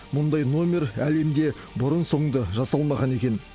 мұндай номер әлемде бұрын соңды жасалмаған екен